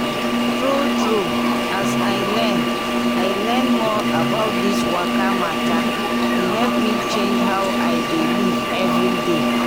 true true as i learn i learn more about this waka matter e help me change how i dey live every day.